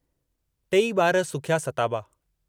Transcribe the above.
टेई बार सुखिया सताबा।